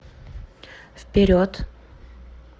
вперед